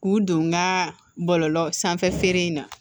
K'u don n ka bɔlɔlɔ sanfɛ feere in na